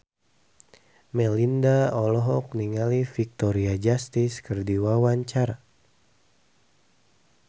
Melinda olohok ningali Victoria Justice keur diwawancara